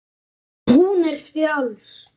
Hún er frjáls.